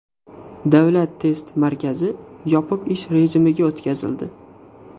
Davlat test markazi yopiq ish rejimiga o‘tkazildi.